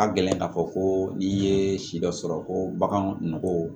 A ka gɛlɛn k'a fɔ ko n'i ye si dɔ sɔrɔ ko bagan nɔgɔw